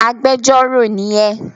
Agbẹjọ́rò ni ẹ!